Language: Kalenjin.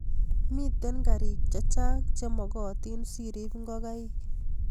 Mito karik chechang' che magotin si rip ngokaik